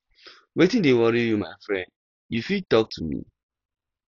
wetin dey worry you my friend you fit talk to me